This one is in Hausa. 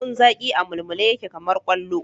Lemun zaƙi a mulmule yake kamar kwallo